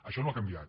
això no ha canviat